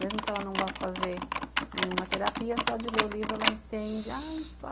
Mesmo que ela não vá fazer nenhuma terapia, só de ler o livro ela entende.